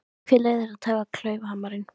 Hver leyfði þér að taka klaufhamarinn?